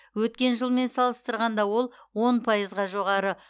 өткен жылмен салыстырғанда ол он пайызға жоғары